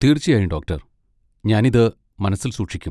തീർച്ചയായും, ഡോക്ടർ! ഞാൻ ഇത് മനസ്സിൽ സൂക്ഷിക്കും.